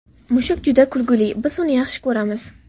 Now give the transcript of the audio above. Mushuk juda kulgili, biz uni yaxshi ko‘ramiz!